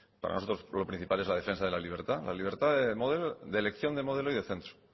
para nosotros lo principal es la defensa de la libertad la libertad de elección de modelo y de centro